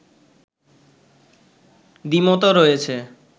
দ্বিমতও রয়েছে